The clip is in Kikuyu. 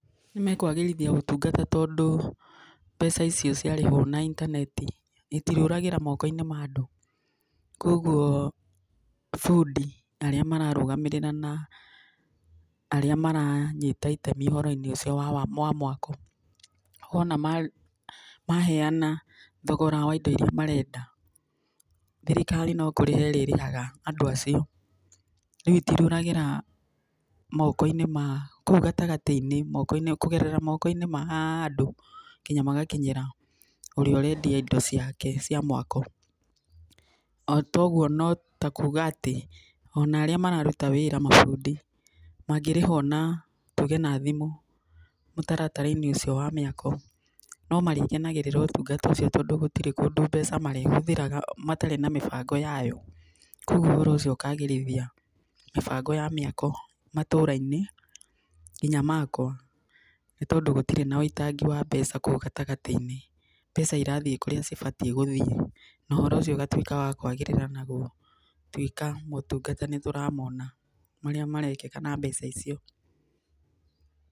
Nĩkwagĩrithia ũtungata tondũ, mbeca icio ciarĩhwo na intaneti, itirĩũragĩra moko-inĩ ma andũ, koguo bundi arĩa mararũgamĩrĩra na arĩa maranyita itemi ũhoro-inĩ ũcio wa mwako, wona ma maheana thogora wa indo irĩa marenda, thirikari no kũrĩha ĩrĩrĩhaga andũ acio, rĩu itiragera, moko-inĩ ma, kũu gatagatĩ-inĩ, moko-inĩ ma kũgerera moko-inĩ ma andũ nginya magakinyĩra ũrĩa ũrendia indo ciake cia mwako, otoguo notakuga atĩ ona arĩa mararuta wĩra mabundi, mangĩrĩhwo na, tuge na thimũ, mũtaratara-inĩ ũcio wa mĩkao, nomarĩkenagĩrĩra ũtungata ũcio, tondũ gũtirĩ kũndũ mbeca marĩhũthĩraga matarĩ na mĩbango yayo, koguo ũhoro ũcio ũkagĩrithia mĩbango ya mĩkao matũra-inĩ, nginya makwa, nĩ tondũ gũtirĩ na wũitangi wa mbeca kũu gatagatĩ-inĩ, mbeca irathiĩ kũrĩa cibatiĩ gũthiĩ na ũhoro ũcio ũgatuĩka wa kwagĩrĩra na gũtuĩka motungata nĩtũramona marĩa marekĩka na mbeca icio.